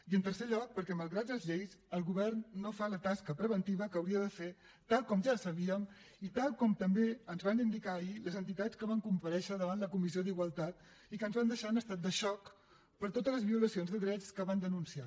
i en tercer lloc perquè malgrat les lleis el govern no fa la tasca preventiva que hauria de fer tal com ja sabíem i tal com també ens van indicar ahir les entitats que van comparèixer davant la comissió d’igualtat i que ens van deixar en estat de xoc per totes les violacions de drets que van denunciar